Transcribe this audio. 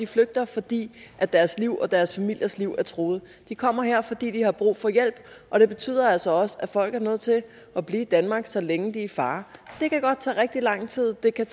flygter fordi deres liv og deres familiers liv er truet og de kommer her fordi de har brug for hjælp og det betyder altså også at folk er nødt til at blive i danmark så længe de er i fare det kan godt tage rigtig lang tid det kan